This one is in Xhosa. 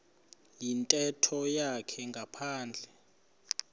yintetho yakhe ngaphandle